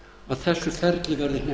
að þessu ferli verði